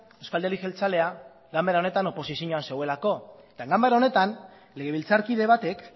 euzko alderdi jeltzalea ganbera honetan oposizioan zegoelako eta ganbara honetan legebiltzarkide batek